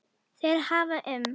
Þeir hafa um